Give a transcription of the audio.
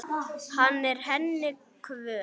Hann er henni kvöl.